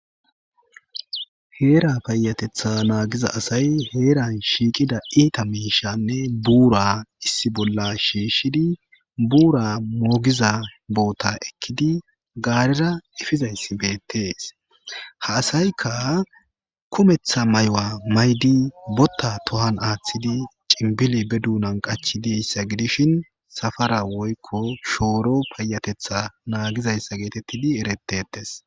heera payatetha naagiza asay heeran shiiqida iita miishanne buura issi bolla shiishshidi buura moogiza boota ekkidi gaarira ifizayssi beettees ha asayikka kumetha mayuwa maydi botta be tohan aaththidi cinbili be duunan qachi deyssa gidishin safara woykko shooro payatetha naagizayssa geetettidi eretetes